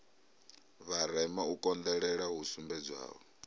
vharema u konḓelela hu sumbedzwaho